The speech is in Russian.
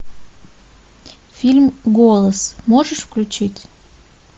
фильм голос можешь включить